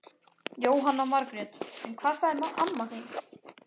Jóhanna Margrét: En hvað sagði amma þín?